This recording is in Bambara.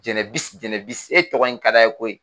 Jɛnɛbisi Jɛnɛbisi e tɔgɔ in ka d'a ye koyi